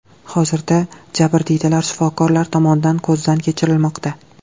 Hozirda jabrdiydalar shifokorlar tomonidan ko‘zdan kechirilmoqda.